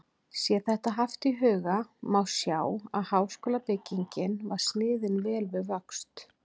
Sé þetta haft í huga, má sjá, að háskólabyggingin var sniðin vel við vöxt.